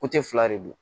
fila de don